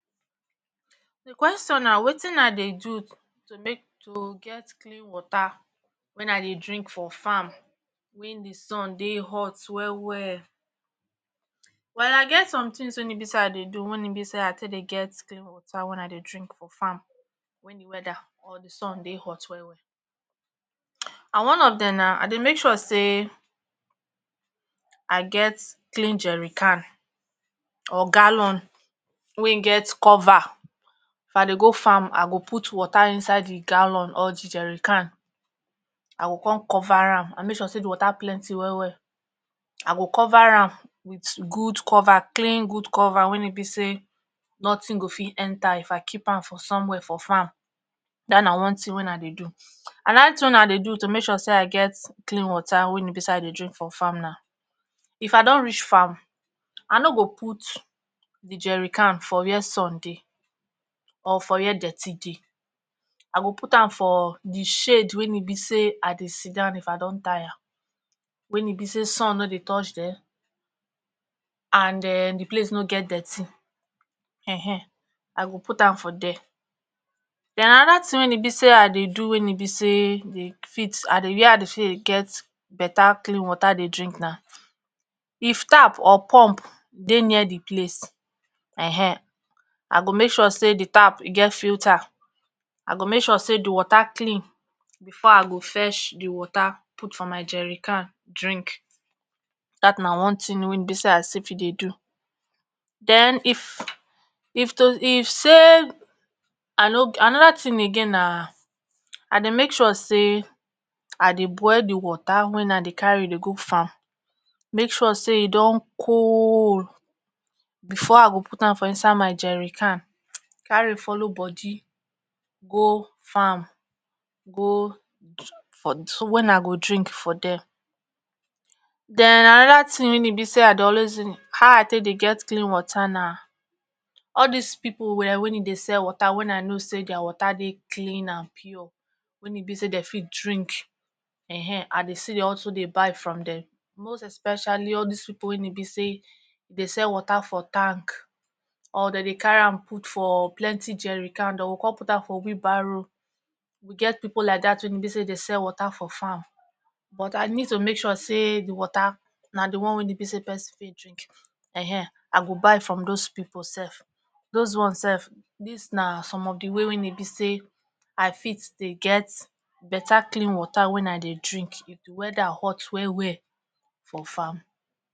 d qweston na wetin i dey do to make to get clean water wen i dey drink for farm wen di sun dey hot wellwell while ai get sometins wey ni be say dey do wen e be say take dey get clean water wen i dey drink for farm wen di wedda or di sun dey hot well wel and one of dem na i dey make sure say i get clean jewry can or galon wey get cover if i dey go farm i go put water inside di galon or di jewrycan i go con cover am i go make sure say di water plenty well well i go cover am wit gud cover clin gud coverwen e be say notin go fit enter if i keep am for somwhere for farm dat na one tin wey i dey do. anoda tin wey i dey do to make sure say i get clean water wen e be sa i dey drink for farm na if i don reach farm i no go put di jewry can for where sun dey or for where dirty dey i go put am for di shade wey e be say i dey sidon if i don tire wen e be say sun nor dey touch thereand um di place no get dirty[um]ehn i go put am for there. den anoda tin wen e be say i dey do wey e be say dey fit where i dey fit dey get beta klin water dey drink na if tap or pump dey near di place[um]ehn i go make sure say di tap get filter i go make sure say di water kili bfor i go fetch di water put for my jewry can drink., dat na one tin wey be say i si fi dey do. den if if to if say i no anoda tin again na i dey make sure say i dey boil di water wen i dey carry dey go farm make sure say e don col bfor i go put am for inside my jerry can carry follow body go farm go for wen i go drink for there. den anoda tin wey e be say i dey always ah i dey take dey get clean water na all dis pipol where wey e dey sell water wey i know say dier water dey clean and pure wen e be say dem fit drink[um]ehn i dey still also buy from dem most especially all dis pipo wey e be say dey sell water for tank or den dey carry am put for plenty jewrycan den go con put am for whee barrow we get pipo like dat wey e be say dey sell water for farm but i need to make sure say di water na di one wey e be say person fit drink[um]ehn ah go buy from doz pipo sef doz ones sef dis na some of di way wey e be say i fit dey get better klin water wey i dey drink well well weather hot well well for farm